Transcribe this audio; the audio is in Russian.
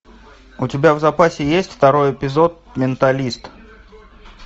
у тебя в запасе есть второй эпизод менталист